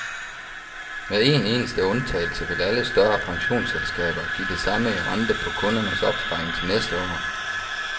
Med én eneste undtagelse vil alle større pensionsselskaber give det samme i rente på kundernes opsparing til næste år.